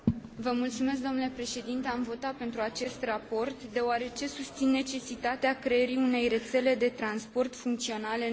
Am votat pentru acest raport deoarece susțin necesitatea creării unei rețele de transport funcționale în Uniune.